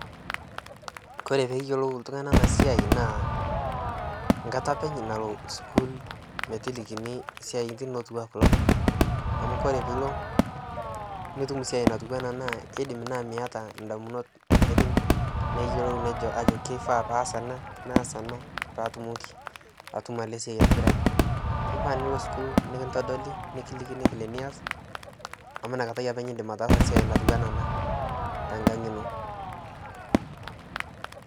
kore peeyolou ltungani ana siai naa nkata apeny nalo sukuul metilikinii siatin otuwaa kuloo amu kore piilo nitum siai natuwa anaa keidim naa miata ndamunot naidim neyolou ajo keifaa paas ana naas anaa paatumoki atumo alee siai aitibiraki keifaa nilo sukuul nikintodoli nikilikini vile nias amu inia katai apeny indim ataasa siai natuwana anaa tankang inoo